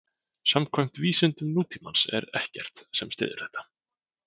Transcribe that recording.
Samkvæmt vísindum nútímans er ekkert sem styður þetta.